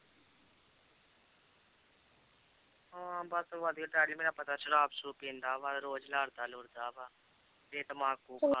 ਹਾਂ ਬਸ ਵਧੀਆ daddy ਮੇਰਾ ਪਤਾ ਸ਼ਰਾਬ ਸ਼ਰੂਬ ਪੀਂਦਾ ਵਾ ਰੋਜ਼ ਲੜਦਾ ਲੁੜਦਾ ਵਾ